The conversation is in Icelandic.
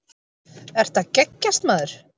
Ertu að geggjast maður?